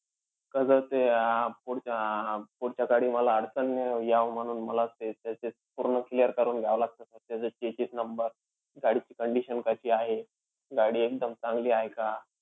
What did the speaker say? कसं ते आह अं पुढच्या पुढच्याकडे मला अडचण यावं म्हणून मला ते त्याचं ते पूर्ण clear करून घ्यावं लागतं sir. त्याचं checks number, गाडीची condition कशी आहे, गाडी एकदम चांगली आहे का?